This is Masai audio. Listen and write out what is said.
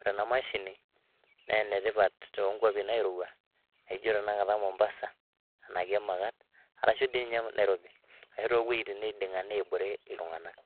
Ore ena mashini naa ene tipat too nkuapi nairowua ijo tenakata Mombasa anake emakat arashu ninye Nairobi ashu to woitin naiding'a nebore iltung'anak.